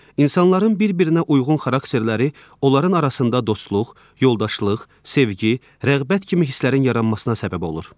İnsanların bir-birinə uyğun xarakterləri onların arasında dostluq, yoldaşlıq, sevgi, rəğbət kimi hislərin yaranmasına səbəb olur.